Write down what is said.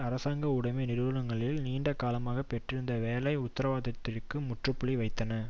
அரசாங்க உடைமை நிறுவனங்களில் நீண்ட காலமாக பெற்றிருந்த வேலை உத்தரவாதத்திற்கு முற்றுப்புள்ளி வைத்தன